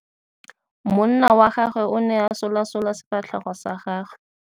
Monna wa gagwe o ne a solasola sefatlhego sa gagwe.